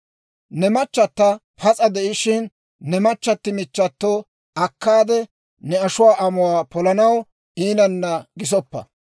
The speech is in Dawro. « ‹Ne machchata pas'a de'ishshin, ne machchati michchato akkaade ne ashuwaa amuwaa polanaw iinanna gisoppa.